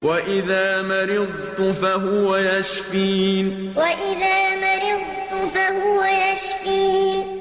وَإِذَا مَرِضْتُ فَهُوَ يَشْفِينِ وَإِذَا مَرِضْتُ فَهُوَ يَشْفِينِ